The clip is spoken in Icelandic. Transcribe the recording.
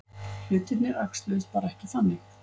Hlutirnir æxluðust bara ekki þannig.